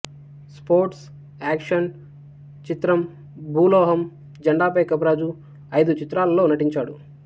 sports action చిత్రం భూలోహం జెండాపై కపిరాజు ఐదు చిత్రాలలో నటించాడు